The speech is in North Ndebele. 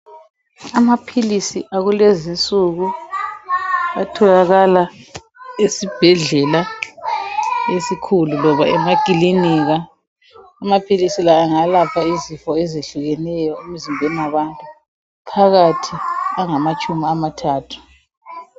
Amaphilisi akulezi nsúku atholakala esibhedlela esikhulu loba emakilinika. Amaphilisi la angalapha izifo ezehlukeneyo emzimbeni yabantu phakathi angamatshumi amathathu.